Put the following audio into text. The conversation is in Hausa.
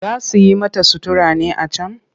Za su yi mata sutura ne a can?